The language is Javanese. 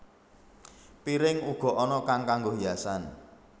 Piring uga ana kang kanggo hiasan